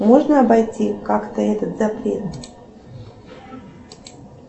можно обойти как то этот запрет